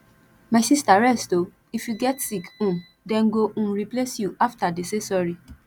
my sister rest oo if you get sick um dem go um replace you after dey say sorry